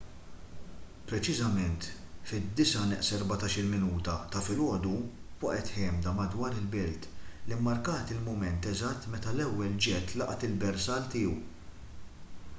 preċiżament fit-8:46 ta’ filgħodu waqgħet ħemda madwar il-belt li mmarkat il-mument eżatt meta l-ewwel ġett laqat il-bersall tiegħu